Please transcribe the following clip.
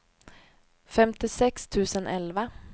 femtiosex tusen elva